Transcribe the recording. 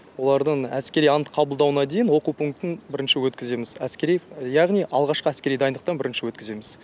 олардың әскери ант қабылдауына дейін оқу пунктін бірінші өткіземіз әскери яғни алғашқы әскери дайындықтан бірінші өткіземіз